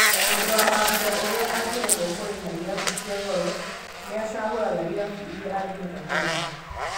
Mũndũ wa mambũra ũrĩa angĩremwo kũrĩha irabu cia goro nĩacagũraga irabu iria angĩhota kũrĩha.